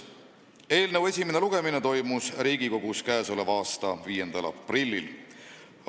Eelnõu esimene lugemine toimus Riigikogus k.a 5. aprillil.